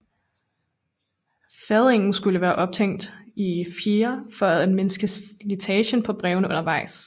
Fadingen skulle være ophængt i fjedre for at mindske slitagen på brevene undervejs